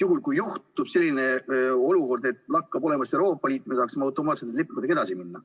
Sest kui juhtub selline olukord, et lakkab olemast Euroopa Liit, siis me saaksime automaatselt lepingutega edasi minna.